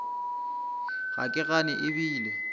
ga ke gane e bile